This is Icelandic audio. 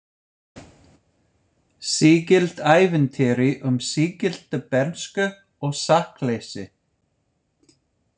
Sígilt ævintýri um sígilda bernsku og sakleysi.